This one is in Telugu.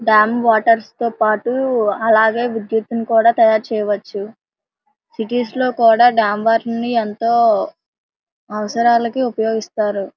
డాం వాటర్స్ తో పాటు అలాగే విద్యుత్ ని కూడా తయారుచేయవచ్చు సిటీస్ లో కూడా డాం వాటర్ ని ఎంతో అవసరాలకి ఉపయోగిస్తారు.